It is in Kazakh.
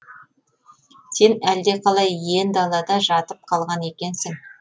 сен әлдеқалай иен далада жатып қалған екенсің